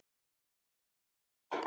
Hvers vegna þá?